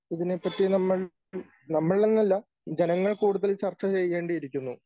ഇതിനെപ്പറ്റി നമ്മൾ നമ്മളെന്നല്ല ജനങ്ങൾ കൂടുതൽ ചർച്ച ചെയ്യേണ്ടിയിരിക്കുന്നു.